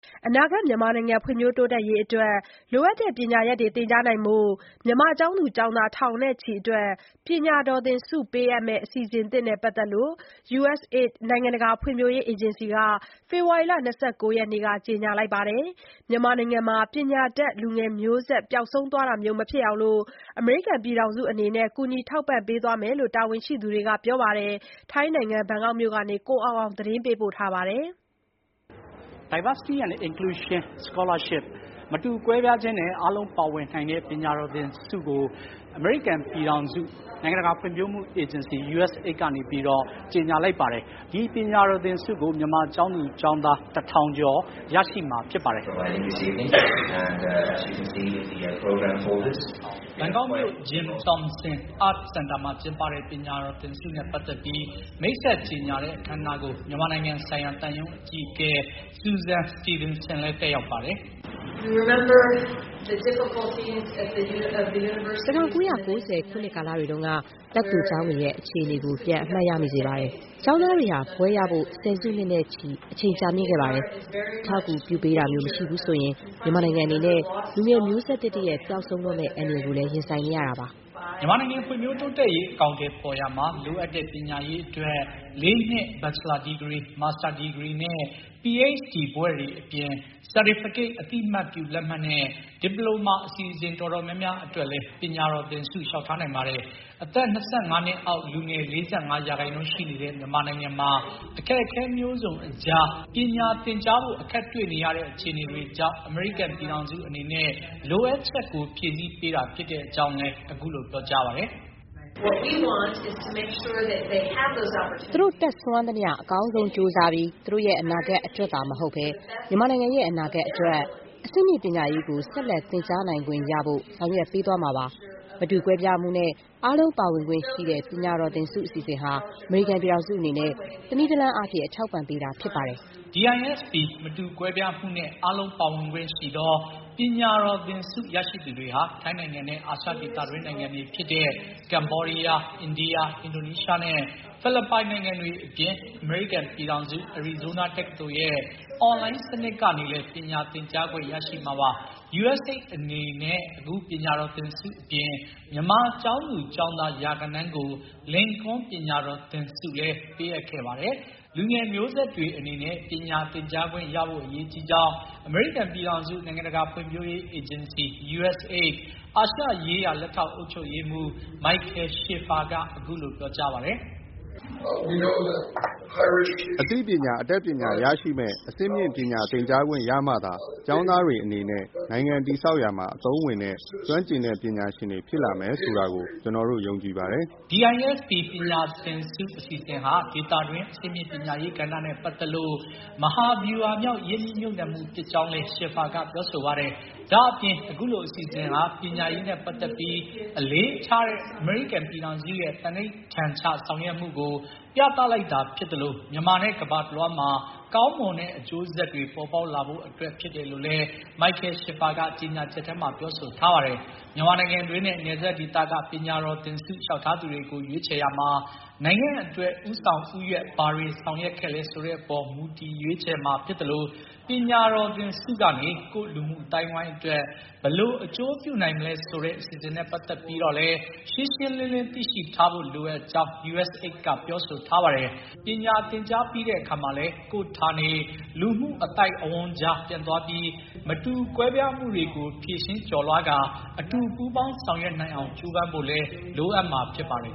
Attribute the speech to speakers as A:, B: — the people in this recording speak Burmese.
A: အနာဂါတ် မြန်မာနိုင်ငံ ဖွံ့ဖြိုးတိုးတက်ရေးအတွက် လိုအပ်တဲ့ ပညာရပ်တွေ သင်ကြားဖို့ မြန်မာကျောင်းသူ ကျောင်းသား ထောင်နဲ့ချီအတွက် ပညာတော်သင်ဆုပေးအပ်မယ့် အစီအစဥ်သစ်နဲ့ ပတ်သတ်ပြီး USAID နိုင်ငံတကာဖွံ့ဖြိုးရေးအေဂျင်စီ က ဖေဖော်ဝါရီ ၂၉ ရက်နေ့မှာ ကြေညာခဲ့ပါတယ်။ မြန်မာနိုင်ငံမှာ ပညာတတ် လူငယ်မျိုးဆက် ပျောက်ဆုံးတာမျိုး မဖြစ်အောင် အမေရိကန်ပြည်ထောင်စုအနေနဲ့ ကူညီထောက်ပံ့ပေးသွားမှာဖြစ်ကြောင်း တာဝန်ရှိသူတွေက ပြောကြားပါတယ်။ ဘန်ကောက်မြို့ကနေ ကိုအောင်အောင် သတင်းပေးပို့ထားပါတယ်။
B: ဘန်ကောက်မြို့ Jim Thompson Art Center မှာ ကျင်းပတဲ့ ပညာတော်သင်ဆုနဲ့ ပတ်သတ်ပြီး မိတ်ဆက်ကြေညာတဲ့ အခမ်းအနားကို မြန်မာနိုင်ငံဆိုင်ရာ သံရုံးအကြီးအကဲ Susan Steveenson လည်း တက်ရောက်ပါတယ်။ "
A: ၁၉၉၀ ခုနှစ်ကာလတွေတုန်းက တက္ကသိုလ်ကျောင်းတွေရဲ့ အခြေအနေကို ပြန်အမှတ်ရမိစေပါတယ်။ ကျောင်းသားတွေဟာ ဘွဲ့ရဖို့ ၁၀ စုနှစ်နဲ့ချီ အချိန်ကြာမြင့်ခဲ့ပါတယ်။ အထောက်အကူပြုပေးတာမျိုးမရှိဘူးဆိုရင် မြန်မာနိုင်ငံအနေနဲ့ လူငယ်မျိုးဆက်သစ်တရပ် ပျောက်ဆုံးတော့မဲ့ အန္တရာယ်ကိုလည်း ရင်ဆိုင်နေရတာပါ။
B: " မြန်မာနိုင်ငံ ဖွံ့ဖြိုးတိုးတက်ရေး အကောင်အထည်ဖေါ်ရာမှာ လိုအပ်တဲ့ ပညာရေးအတွက် ၄ နှစ် ဘချ်လာဒီဂရီ၊ မာစတာဒီဂရီနဲ့ ၊ PHD ဘွဲ့တွေအပြင် certificate အသိအမှတ်ပြုလက်မှတ်နဲ့ ဒီပလိုမာအစီအစဥ် တော်တော်များများအတွက်လည်း ပညာတော်သင်ဆု လျှောက်ထားနိုင်ပါတယ်။ အသက် ၂၅ နှစ်အောက်လူငယ် ၄၅ ရာခိုင်နှုန်းရှိနေတဲ့ မြန်မာနိုင်ငံ အခက်အခဲမျိုးစုံအကြား ပညာသင်ကြားဖို့ အခက်တွေ့နေရတဲ့ အခြေအနေတွေကြောင့် အမေရိကန်ပြည်ထောင်စုအနေနဲ့ လိုအပ်ချက်ကို ဖြည့်ဆီးပေးတာဖြစ်တဲ့အကြောင်းလည်း အခုလို ပြောကြားပါတယ်။ "
A: သူတို့ တတ်စွမ်းသမျှ အကောင်းဆုံးကြိုးစားပြီး သူတို့ရဲ့ အနာဂါတ်အတွက်သာမဟုတ်ဘဲ မြန်မာနိုင်ငံရဲ့ အနာဂါတ်အတွက်၊ အဆင့်မြင့်ပညာရေးကို ဆက်လက် သင်ကြားနိုင်ခွင့် ရဖို့ ဆောင်ရွက်ပေးသွားမှာပါ။ မတူကွဲပြားမှုနှင့် အားလုံးပါဝင်ခွင့်ရှိသော ပညာတော်သင်ဆု အစီအစဥ်ဟာ အမေရိကန်ပြည်ထောင်စုအနေနဲ့ တနည်းတလမ်းအားဖြင့် အထောက်အပံ့ပေးတာဖြစ်ပါတယ်။
B: " DISP မတူကွဲပြားမှုနဲ့ အားလုံးပါဝင်ခွင့်ရှိသော ပညာတော်သင်ဆု ရရှိသူတွေဟာ ထိုင်းနိုင်ငံနဲ့ အာရှ ဒေသတွင်းနိုင်ငံတွေဖြစ်တဲ့ ကမ္ဘောဒီးယား၊ အိန္ဒိယ၊ အင်ဒိုနီးရှားနဲ့ ဖိလစ်ပိုင် နိုင်ငံတွေအပြင် အမေရိကန်ပြည်ထောင်စု အရီဇိုးနား တက္ကသိုလ်ရဲ့ အွန်လိုင်း စနစ်ကနေလည်း ပညာသင်ကြားခွင့်ရရှိမှာပါ။ USAID အနေနဲ့ အခုပညာတော်သင်ဆုအပြင် မြန်မာကျောင်းသူကျောင်းသား ရာဂဏန်းကို လင်ကွန်းပညာတော်သင်ဆု ပေးအပ်ခဲ့ပါတယ်။ လူငယ်မျိုးဆက်တွေအတွက် ပညာသင်ကြားပေးခွင့်ရဖို့ အရေးကြီးကြောင်း အမေရိကန်ပြည်ထောင်စု နိုင်ငံတကာ ဖွံ့ဖြိုးရေးအေးဂျင်စီ USAID အာရှရေးရာ လက်ထောက် အုပ်ချုပ်ရေးမှူး Michael Schiffer က အခုလို ပြောပါတယ်။
A: "အသိပညာ အတတ်ပညာ ရရှိမယ့် အဆင့်မြင့်ပညာသင်ကြားခွင့်ရမှာသာ ကျောင်းသားတွေအနေနဲ့ နိုင်ငံတည်ဆောက်ရာမှာ အသုံးဝင်တဲ့ ကျွမ်းကျင်ပညာရှင်တွေ ဖြစ်လာမယ်ဆိုတာကို ကျနော်တို့ ယုံကြည်ပါတယ်။
B: " DISP ပညာသင်ဆု အစီအစဥ်ဟာ ဒေသတွင်း အဆင့်မြင့်ပညာရေးကဏ္ဍနဲ့ပတ်သတ်လို့ မဟာဗျူဟာမြောက် ရင်းနှီးမြှပ်နှံမှု ဖြစ်ကြောင်းလည်း Schiffer က ပြောဆိုပါတယ်။ ဒါ့အပြင် အခုလို အစီအစဥ်ဟာ ပညာရေးနဲ့ ပတ်သတ်ပြီး အလေးထားတဲ့ အမေရိကန်ရဲ့ သန္နိဋ္ဌာန်ချဆောင်ရွက်မှုကို ပြသလိုက်တာဖြစ်သလို မြန်မာနဲ့ ကမ္ဘာတလွှားမှာ ကောင်းမွန်တဲ့အကျိုးဆက်တွေ ပေါ်ပေါက်လာဖို့အတွက် ဖြစ်တယ်လို့လည်း Michel Schiffer က ကြေညာချက်ထဲမှ ပြောဆိုထားပါတယ်။ မြန်မာနိုင်ငံတွင်းနဲ့ နယ်စပ်ဒေသက ပညာတော်သင်ဆုလျှောက်ထားသူတွေကို ရွေးချယ်ရာမှာ နိုင်ငံအတွက် ဦးဆောင်ဦးရွက် ဘာတွေဆောင်ရွက်ခဲ့လဲ ဆိုတဲ့အပေါ် မူတည် ရွေးချယ်မှာြဖစ်သလို ပညာတော်သင်ဆုကနေ ကိုယ့်လူမှုအသိုင်းအဝိုင်းအတွက် ဘယ်လို အကျိုးပြုနိုင်မလဲဆိုတဲ အစီအစဥ်နဲ့ ပတ်သတ်ပြီးတော့လည်း ရှင်းရှင်းလင်းလင်း သိရှိထားဖို့ လိုအပ်ကြောင်း USAID က ပြောဆိုထားပါတယ်။ ပညာသင်ကြားပြီးတဲ့အခါမှာလည်း ကိုယ့်ဌာနေ လူမှုအသိုက်အဝန်းကြား ပြန်သွားပြီး မတူကွဲပြားမှုတွေကို ဖြေရှင်း ကျော်လွှားကာ အတူပူးပေါင်းဆောင်ရွက်နိုင်အောင် ကြိုးပမ်းဖို့လည်း လိုအပ်မှာဖြစ်ပါတယ်